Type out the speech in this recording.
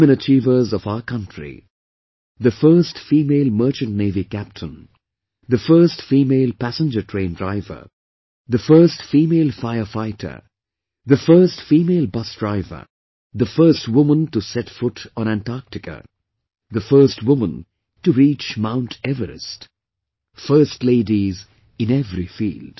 Women achievers of our country... the first female Merchant Navy Captain, the first female passenger train driver, the first female fire fighter, the first female Bus Driver, the first woman to set foot on Antarctica, the first woman to reach Mount Everest... 'First Ladies' in every field